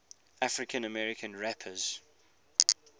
african american rappers